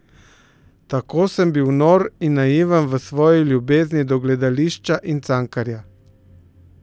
Tako sem bil nor in naiven v svoji ljubezni do gledališča in Cankarja!